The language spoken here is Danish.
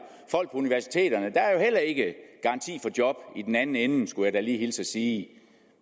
folk på universiteterne der er ikke garanti for job i den anden ende skulle jeg da lige hilse at sige